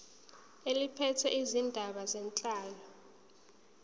eliphethe izindaba zenhlalo